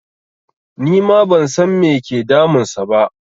Nima ban san me ke damun sa ba